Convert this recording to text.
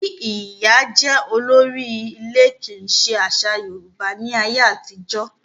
Kí ìyá jẹ́ olórí ilé kì í ṣe àṣà Yorùbá ní ayé àtijọ́.